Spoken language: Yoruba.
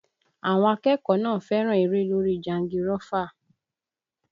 Àwọn akẹ́kọ̀ọ́ náà fẹ́ràn eré lórí jangirọ́fà